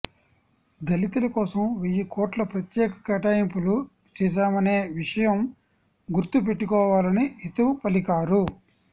దళితుల కోసం వెయ్యికోట్లు ప్రత్యేక కేటాయింపులు చేశామనే విషయం గుర్తు పెట్టుకోవాలని హితవు పలికారు